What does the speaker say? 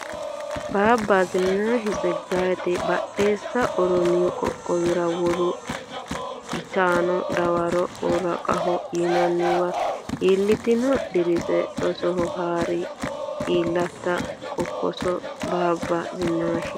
Baabba Zinnaashi Tseggayeti Badheessa Oromiyu Qoqqowira wolu uytanno dawaro Worqaho yinanniwa ilantino Dirise rosoho haa ri iillita Kokkossa Baabba Zinnaashi.